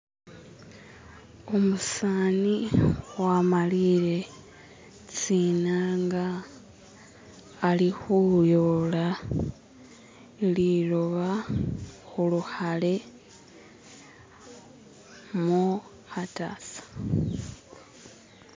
Umusani wamaliile tsi'nanga ali khuyola liloba khulukhale mu kha'tasa.